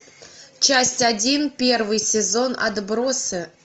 часть один первый сезон отбросы